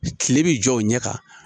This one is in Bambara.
Tile bi jɔ o ɲɛ kan